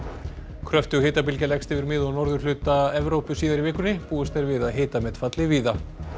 kröftug hitabylgja leggst yfir mið og norðurhluta Evrópu síðar í vikunni búist er við að hitamet falli víða